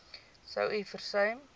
sou u versuim